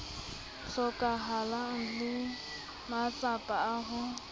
hlokahalang le matsapa a ho